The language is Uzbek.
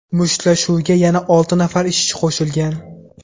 Mushtlashuvga yana olti nafar ishchi qo‘shilgan.